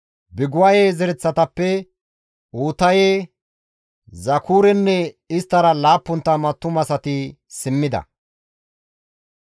Biguwaye zereththatappe Uutaye, Zakurenne isttara 70 attumasati simmida.